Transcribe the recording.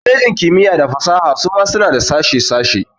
Kwalejin kimiyya da fasaha suma suna da sashe sashe.